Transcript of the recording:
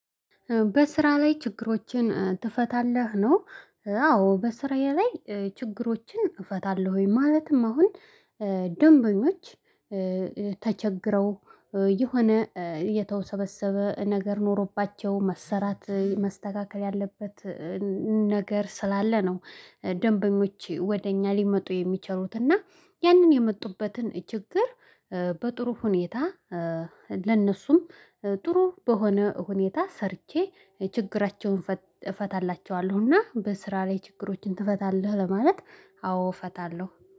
በስራ ላይ ችግሮችን ትፈታለህ ነው? አዎ በስራዬ ላይ ችግሮችን እፈታለሁ። ማለትም አሁን ደንበኞች ተቸግረው የሆነ የተወሰበሰበ ነገር ኖሮባቸው መሰራት መስተካከል ያለበት። ነገር ስላለ ነው። ደንበኞች ወደ እኛ ሊመጡ የሚችሉትና ያንን የመጡበትን ችግር በጥሩ ሁኔታ ለነሱም ጥሩ በሆነ ሁኔታ ሰርቼ ችግራቸውን እፈታላቸዋለሁና። በስራ ላይ ችግሮችን ትፈታለህ? ለማለት አዎ እፈታለሁ